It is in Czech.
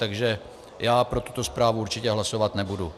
Takže já pro tuto zprávu určitě hlasovat nebudu.